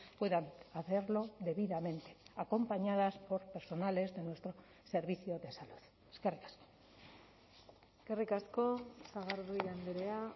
puedan hacerlo debidamente acompañadas por personales de nuestro servicio de salud eskerrik asko eskerrik asko sagardui andrea